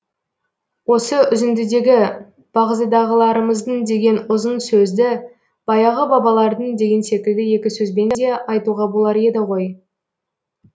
осы үзіндідегі бағзыдағыларымыздың деген ұзын сөзді баяғы бабалардың деген секілді екі сөзбен де айтуға болар еді ғой